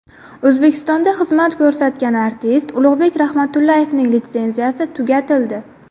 O‘zbekistonda xizmat ko‘rsatgan artist Ulug‘bek Rahmatullayevning litsenziyasi tugatildi.